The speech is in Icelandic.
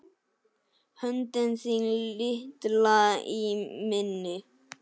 Höndin þín litla í minni.